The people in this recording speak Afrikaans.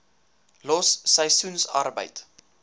los seisoensarbeid